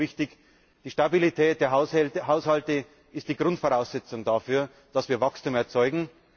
Aber er ist für uns wichtig Die Stabilität der Haushalte ist die Grundvoraussetzung dafür, dass wir Wachstum erzeugen.